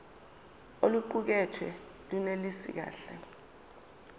oluqukethwe lunelisi kahle